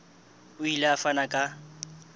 o ile a fana ka